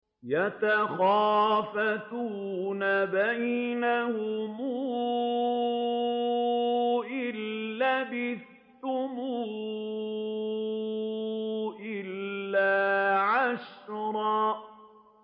يَتَخَافَتُونَ بَيْنَهُمْ إِن لَّبِثْتُمْ إِلَّا عَشْرًا